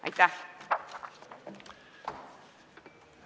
Aitäh!